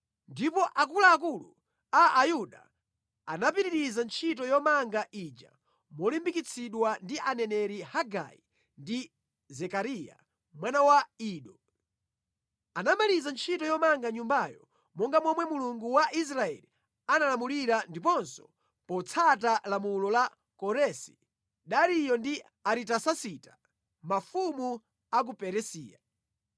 Ndipo akuluakulu a Ayuda anapitiriza ntchito yomanga ija molimbikitsidwa ndi aneneri Hagai ndi Zekariya mwana wa Ido. Anamaliza ntchito yomanga Nyumbayo, monga momwe Mulungu wa Israeli analamulira ndiponso potsata lamulo la Koresi, Dariyo ndi Aritasasita, mafumu a ku Perisiya.